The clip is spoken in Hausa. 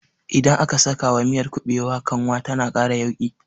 Idan aka sakawa miyar kuɓewa kanwa tana ƙara yauƙi